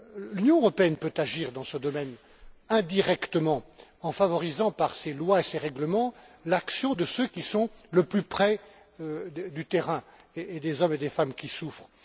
L'Union européenne peut agir dans ce domaine indirectement en favorisant par ses lois et ses règlements l'action de ceux qui sont le plus près du terrain et des hommes et des femmes qui souffrent.